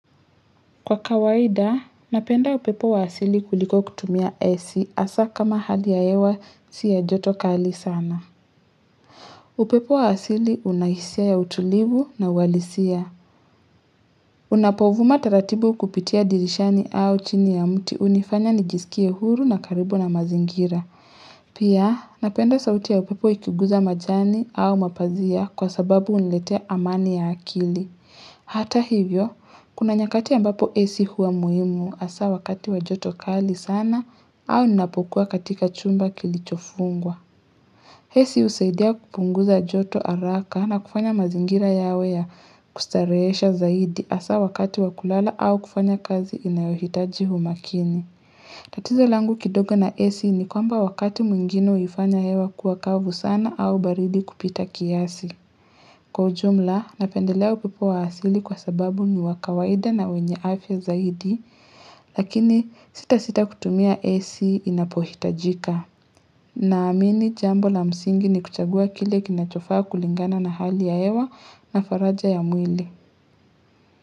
Kwa kawaida, napenda upepo wa asili kuliko kutumia ac hasa kama hali ya hewa si ya joto kali sana. Upepo wa asili una hisia ya utulivu na uhalisia. Unapovuma taratibu kupitia dirishani au chini ya mti hunifanya nijisikie huru na karibu na mazingira. Pia, napenda sauti ya upepo ikigusa majani au mapazia kwa sababu huniletea amani ya akili. Hata hivyo, kuna nyakati ambapo ac huwa muhimu hasa wakati wajoto kali sana au ninapokuwa katika chumba kilichofungwa. Ac husaidia kupunguza joto haraka na kufanya mazingira yawe ya kustarehesha zaidi hasa wakati wa kulala au kufanya kazi inayohitaji umakini. Tatizo langu kidogo na ac ni kwamba wakati mwingine huifanya hewa kuwa kavu sana au baridi kupita kiasi. Kwa ujumla, napendelea upepo wa asili kwa sababu ni wabkawaida na wenye afya zaidi, lakini sitasita kutumia AC inapohitajika. Naamini jambo la msingi ni kuchagua kile kinachofaa kulingana na hali ya hewa na faraja ya mwili.